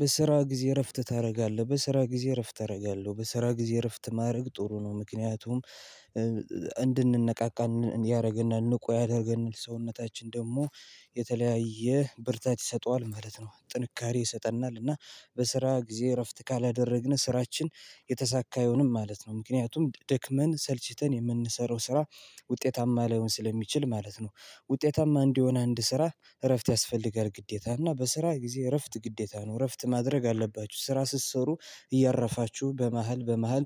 በስራ ጊዜ እረፍት ታደርጋለህ በስራ ጊዜ እረፍት አደርጋለሁ በስራ ጊዜ እረፍት ማድረግ ጥሩ ነው? ምክንያቱም እንድንነቃቃ ያደርግናል ንቁ ያደርገናል ሰውነታችን ደግሞ የተለያየ ብርታት ይሰጠዋል ማለት ነው። ጥንካሬ ይሰጠናል እና በስራ ጊዜ እረፍት ካላደረግን ስራችን የተሳካ አይሆንም ማለት ነው። ምክንያቱም ደክመን ሰልችተን የምንሰራው ስራ ውጤታማ ላይሆን ስለሚችል ማለት ነው። ውጤታማ እንዲሆን አንድ ስራ እረፍት ያስፈልጋል ግዴታ እና በስራ ጊዜ እረፍት ግዴታ ነው። እረፍት ማድረግ አለባችሁ ስራ ስትሰሩ እያረፋችሁ በመሃል በመሃል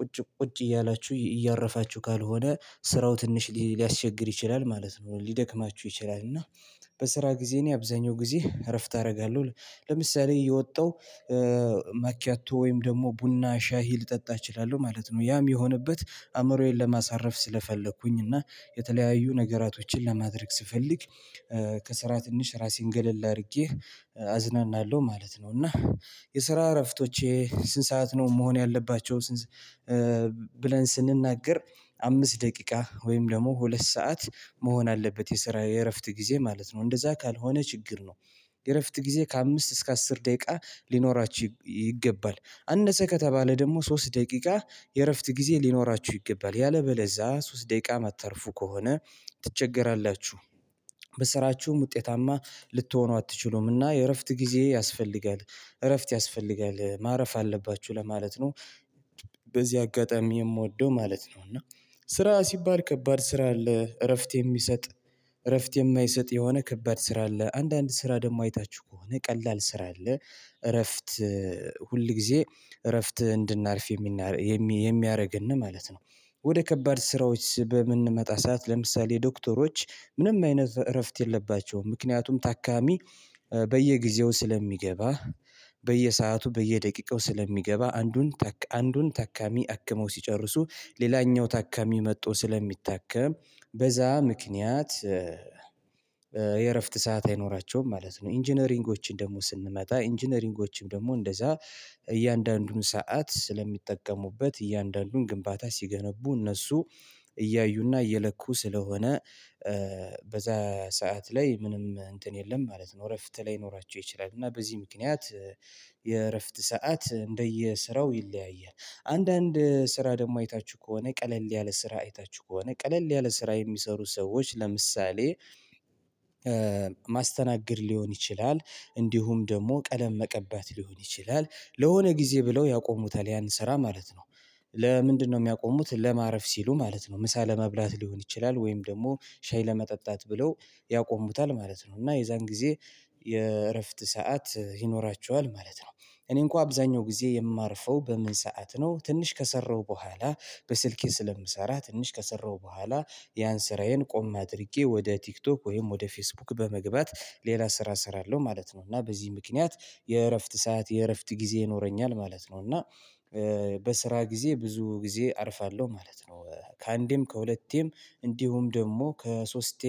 ቁጭ ቁጭ እያላችሁ እያረፋችሁ ካልሆነ ስራው ትንሽ ሊያስቸግር ይችላል ማለት ነው። ሊደክማችሁ ይችላል እና በስራ ጊዜ እኔ አብዛኛው ጊዜ እረፍት አደርጋለሁ። ለምሳሌ እየወጣው ማኪያቶ ወይም ደግሞ ቡና ሻይ ልጠጣ እችላለሁ ማለት ነው። ያ እሚሆንበት አእምሮዬን ለማሳረፍ ስለፈለኩኝ እና የተለያዩ ነገራቶችን ለማድረግ ስፈልግ ከስራ ትንሽ ራሴን ገለል አድርጌ አዝናናለሁ ማለት ነው። እና የስራ እረፍቶቼ ስንት ሰዓት ነው መሆን ያለባቸው? ብለን ስንናገር አምስት ደቂቃ ወይም ደግሞ ሁለት ሰዓት መሆን አለበት የስራ የእረፍት ጊዜ ማለት ነው እንደዛ ካልሆነ ችግር ነው። የእረፍት ጊዜ ከአምስት እስከ አስር ደቂቃ ሊኖራችሁ ይገባል አነሰ ከተባለ ደግሞ ሶስት ደቂቃ የእረፍት ጊዜ ሊኖራችሁ ይገባል ያለበለዛ ሶስት ደቂቃ እማታርፉ ከሆነ ትቸገራላችሁ። በስራችሁም ውጤታማ ልትሆኑ አትችሉምና የእረፍት ጊዜ ያስፈልጋል። እረፍት ያስፈልጋል ማረፍ አለባችሁ ለማለት ነው። በዚህ አጋጣሚ የምወደው ማለት ነው። እና ስራ ሲባል ከባድ ስራ አለ እረፍት የሚሰጥ እረፍት የማይሰጥ የሆነ ከባድ ስራ አለ። አንዳንድ ስራ ደግሞ አይታችሁ ከሆነ ቀላል ስራ አለ። እረፍት ሁል ጊዜ እረፍት እንድናርፍ የሚያደርግን ማለት ነው። ወደ ከባድ ስራዎች በምንመጣ ሰዓት ለምሳሌ ዶክተሮች ምንም አይነት እረፍት የለባቸውም ምክንያቱም ታካሚ በየጊዜው ስለሚገባ በየሰአቱ በየደቂቃው ስለሚገባ አንዱን አንዱን ታካሚ አክመው ሲጨርሱ ሌላኛው ታካሚ መጥቶ ስለሚታከም በዛ ምክንያት የእረፍት ሰዓት አይኖራቸውም ማለት ነው። ኢንጂነሪንጎችን ደግሞ ስንመጣ ኢንጂነሪንጎችን ደግሞ እንደዛ እያንዳንዱን ሰዓት ስለሚጠቀሙበት እያንዳንዱን ግንባታ ሲገነቡ እነሱ እያዩና እየለኩ ስለሆነ በዛ ሰዓት ላይ ምንም እንትን የለም ማለት ነው። እረፍት ላይኖራቸው ይችላል እና በዚህ ምክንያት የእረፍት ሰዓት እንደየስራው ይለያያል። አንዳንድ ስራ ደግሞ አይታችሁ ከሆነ ቀለል ያለ ስራ አይታችሁ ከሆነ ቀለል ያለ ስራ የሚሰሩ ሰዎች ለምሳሌ ማስተናገድ ሊሆን ይችላል። እንዲሁም ደግሞ ቀለም መቀባት ሊሆን ይችላል። ለሆነ ጊዜ ብለው ያቆሙታል ያን ስራ ማለት ነው። ለምንድነው እሚያቆሙት ለማረፍ ሲሉ ማለት ነው። ምሳ ለመብላት ሊሆን ይችላል ወይም ደግሞ ሻይ ለመጠጣት ብለው ያቆሙታል ማለት ነው። እና የዛን ጊዜ የእረፍት ሰዓት ይኖራቸዋል ማለት ነው። እኔ እንኳን አብዛኛው ጊዜ የማርፈው በምን ሰዓት ነው? ትንሽ ከሰራው በኋላ በስልኬ ስለምሰራ ትንሽ ከሰራሁ በኋላ ያን ስራዬን ቆም አድርጌ ወደ ቲክቶክ ወይም ወደ ፌስቡክ በመግባት ሌላ ስራ እሰራለው ማለት ነው። እና በዚህ ምክንያት የእረፍት ሰዓት የእረፍት ጊዜ ይኖረኛል ማለት ነው። እና በስራ ጊዜ ብዙ ጊዜ አርፋለሁ ማለት ነው። ከአንዴም ከሁለቴም እንዲሁም ደግሞ ከሶስቴ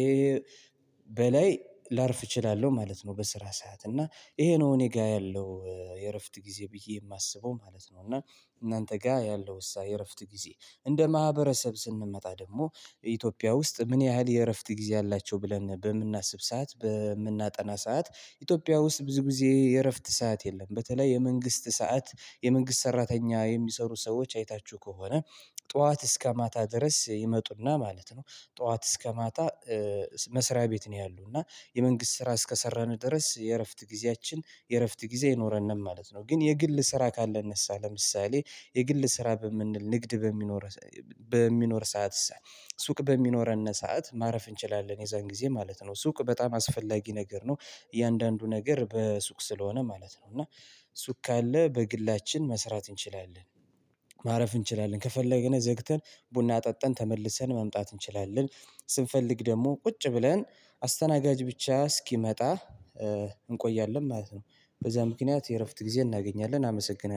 በላይ ላርፍ እችላለሁ ማለት ነው። በስራ ሰዓት እና ይሄ ነው እኔ ጋር ያለው የእረፍት ጊዜ ብዬ የማስበው ማለት ነው። እና እናንተ ጋር ያለው የስራ የእረፍት ጊዜ እንደ ማህበረሰብ ስንመጣ ደግሞ ኢትዮጵያ ውስጥ ምን ያህል የእረፍት ጊዜ አላቸው ብለን በምናስብ ሰዓት በምናጠና ሰዓት ኢትዮጵያ ውስጥ ብዙ ጊዜ የእረፍት ሰዓት የለም። በተለይ የመንግስት ሰዓት የመንግስት ሰራተኛ የሚሰሩ ሰዎች አይታችሁ ከሆነ ጠዋት እስከ ማታ ድረስ ይመጡና ማለት ነው። ጠዋት እስከ ማታ መስሪያ ቤት ነው ያሉ እና የመንግስት ስራ እስከሰራን ድረስ የእረፍት ጊዜያችን የእረፍት ጊዜ አይኖረንም ማለት ነው። ግን የግል ስራ ካለ ለምሳሌ የግል ስራ ንግድ በሚኖር ሰዓት ሱቅ በሚኖረን ሰዓት ማረፍ እንችላለን የዛን ጊዜ ማለት ነው። ሱቅ በጣም አስፈላጊ ነገር ነው። እያንዳንዱ ነገር በሱቅ ስለሆነ ማለት ነው። እና ሱቅ ካለ በግላችን መስራት እንችላለን። ማረፍ እንችላለን ከፈለግን ዘግተን ቡና ጠጥን ተመልሰን መምጣት እንችላለን። ስንፈልግ ደግሞ ቁጭ ብለን አስተናጋጅ ብቻ እስኪመጣ እንቆያለን ማለት ነው። በዛ ምክንያት የእረፍት ጊዜ እናገኛለን አመሰግናለሁ